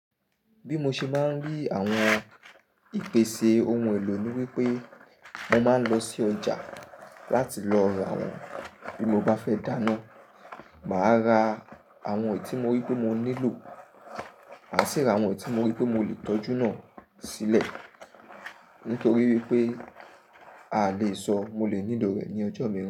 Bí mo ṣe máa ń rí àwọn ìpèsè ohun èlò ni wípé mo máa ń lọ sí ọjà láti lọ ra àwọn bí mo bá fẹ́ dáná. Màá ra àwọn èyì tí mó rí pé mo nílò, màá sì ra àwọn èyì tí mó rí pé mo lè tọ́jú náà sílẹ̀. Nítorí wípé a lè sọ mo lè nílò rẹ̀ ní ọjọ́ mìíràn.